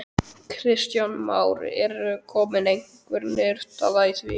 Kristján Már: Er komin einhver niðurstaða í því?